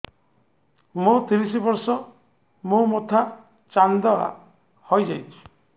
ମୋ ତିରିଶ ବର୍ଷ ମୋ ମୋଥା ଚାନ୍ଦା ହଇଯାଇଛି